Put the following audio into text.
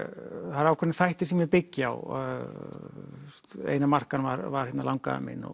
það eru ákveðnir þættir sem ég byggi á einar Markan var var langafi minn og